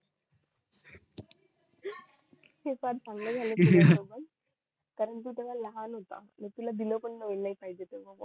काय भांडण झाले होते ना पण तू तेव्हा लहान होता